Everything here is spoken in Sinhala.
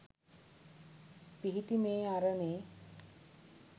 පිහිටි මේ අරණේ